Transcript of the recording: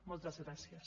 moltes gràcies